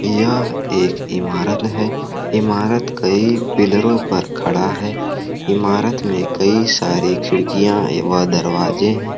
यह एक इमारत है इमारत कई पिलरों पे खड़ा है इमारत में कई सारी खिड़कियां व दरवाजे है।